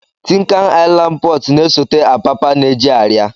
Tin Can Island Port na-esote Apapa na-eji arịa.